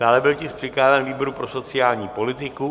Dále byl tisk přikázán výboru pro sociální politiku.